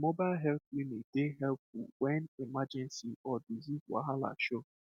like mobile health unit dey helpful when emergency or disease wahala show